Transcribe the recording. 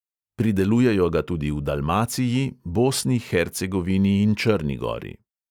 Pridelujejo ga tudi v dalmaciji, bosni, hercegovini in črni gori.